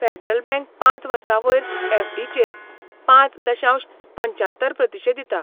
Federal Bank पांच वर्सां वयर एफडीचेर पांच दशांश पंच्यात्तर प्रतिशे दिता.